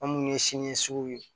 An munnu ye siniɲɛsugu ye